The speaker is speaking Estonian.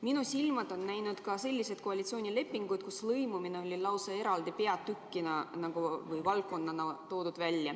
Minu silmad on näinud ka sellist koalitsioonilepingut, kus lõimumine oli lausa eraldi peatükina või valdkonnana välja toodud.